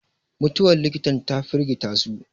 mutuwar likitan ta firgita su